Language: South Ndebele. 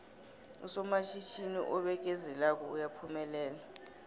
usomatjhinini obekezelako uyaphumelela